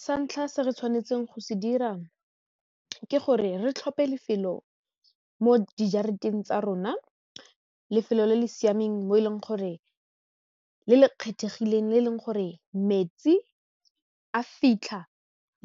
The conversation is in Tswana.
Sa ntlha se re tshwanetseng go se dira ke gore re tlhophe lefelo mo dijareteng tsa rona lefelo le le siameng mo e leng gore le le kgethegileng le eleng gore metsi a fitlha